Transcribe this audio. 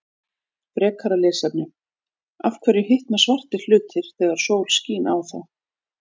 Frekara lesefni: Af hverju hitna svartir hlutir þegar sól skín á þá?